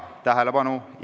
Tähelepanu!